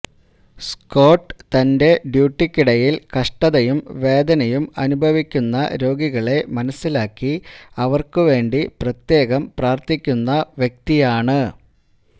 Scott തന്റെ ഡ്യൂട്ടിക്കിടയില് കഷ്ടതയും വേദനയും അനുഭവിക്കുന്ന രോഗികളെ മനസ്സിലാക്കി അവര്ക്കുവേണ്ടി പ്രത്യേകം പ്രാര്ത്ഥിക്കുന്ന വ്യക്തിയാണ്